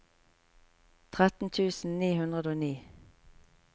tretten tusen ni hundre og ni